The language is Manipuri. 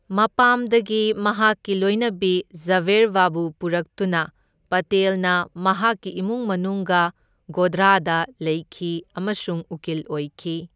ꯃꯄꯥꯝꯗꯒꯤ ꯃꯍꯥꯛꯀꯤ ꯂꯣꯢꯅꯕꯤ ꯓꯥꯕꯦꯔꯕꯥꯕꯨ ꯄꯨꯔꯛꯇꯨꯅ ꯄꯇꯦꯜꯅ ꯃꯍꯥꯛꯀꯤ ꯏꯃꯨꯡ ꯃꯅꯨꯡꯒ ꯒꯣꯙ꯭ꯔꯥꯗ ꯂꯩꯈꯤ ꯑꯃꯁꯨꯡ ꯎꯀꯤꯜ ꯑꯣꯏꯈꯤ꯫